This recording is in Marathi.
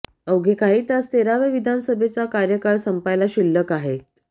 अवघे काही तास तेराव्या विधानसभेचा कार्यकाळ संपायला शिल्लक आहेत